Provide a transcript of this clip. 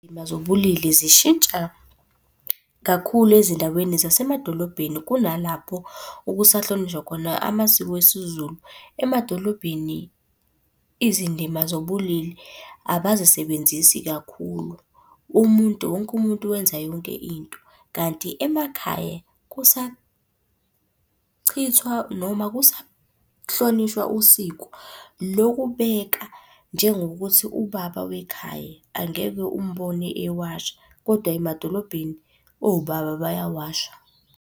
zobulili zishintsha kakhulu ezindaweni zasemadolobheni kunalapho okusahlonishwa khona amasiko esiZulu. Emadolobheni izindima zobulili abazisebenzisi kakhulu, umuntu wonke umuntu wenza yonke into. Kanti emakhaya kusachithwa noma kusahlonishwa usiko lokubeka njengokuthi ubaba wekhaya angeke umbone ewasha, kodwa emadolobheni obaba bayawasha.